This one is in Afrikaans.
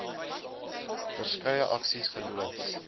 verskeie aksies geloods